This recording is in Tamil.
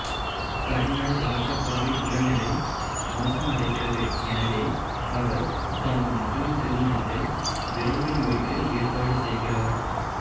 கர்னல் ராஜப்பாவின் உடல்நிலை மோசமடைகிறது எனவே அவர் தனது மகளின் திருமணத்தை விரைவில் முடிக்க ஏற்பாடு செய்கிறார்